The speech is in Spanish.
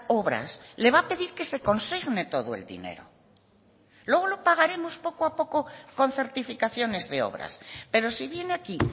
obras le va a pedir que se consigne todo el dinero luego lo pagaremos poco a poco con certificaciones de obras pero si viene aquí